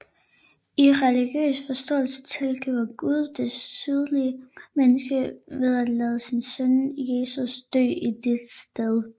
I religiøs forståelse tilgiver Gud det syndige menneske ved at lade sin søn Jesus dø i dets sted